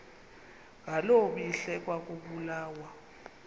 ngaloo mihla ekwakubulawa